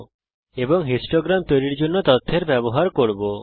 এবং বারলেখ হিস্টোগ্রাম তৈরী করার জন্যে তথ্যের ব্যবহার করব